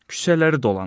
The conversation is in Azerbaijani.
Küçələri dolanır.